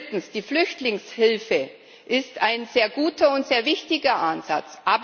Drittens Die Flüchtlingshilfe ist ein sehr guter und sehr wichtiger Ansatz.